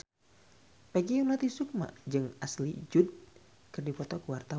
Peggy Melati Sukma jeung Ashley Judd keur dipoto ku wartawan